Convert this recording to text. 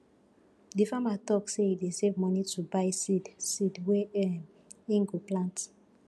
di farmer tok sey e dey save moni to buy seed seed wey um im go plant